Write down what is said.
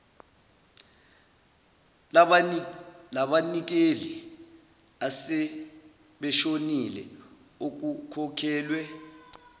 labanikeli asebeshonile okukhokhelwe